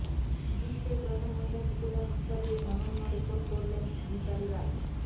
বিশ্বের প্রথম মহিলা ক্রিকেটার হিসাবে অনন্য রেকর্ড করলেন মিতালি রাজ